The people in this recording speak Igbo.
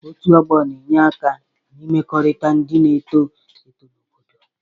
Otụ ọgbo na-enye aka n'imekọrịta ndị na-eto eto na obodo.